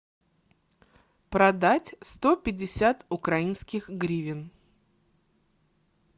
продать сто пятьдесят украинских гривен